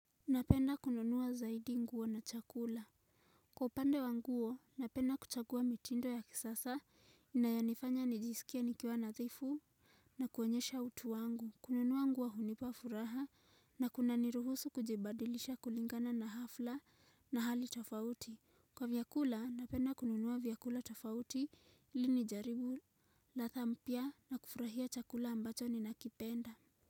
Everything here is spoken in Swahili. Napenda kununua zaidi nguo na chakula. Kwa upande wa nguo, napenda kuchagua mitindo ya kisasa, inayonifanya nijiskie nikiwa nadhifu na kuonyesha utu wangu. Kununua nguo hunipa furaha na kunaniruhusu kujibadilisha kulingana na hafla na hali tafauti. Kwa vyakula, napenda kununua vyakula tafauti ili nijaribu ladha mpya na kufurahia chakula ambacho ninakipenda.